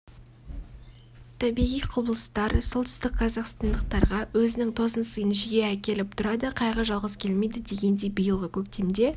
табиғи құбылыстар солтүстік қазақстандықтарға өзінің тосын сыйын жиі әкіліп тұрады қайғы жалғыз келмейді дегендей биылғы көктемде